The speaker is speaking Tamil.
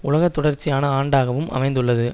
உலக தொடர்ச்சியான ஆண்டாகவும் அமைந்துள்ளது